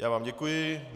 Já vám děkuji.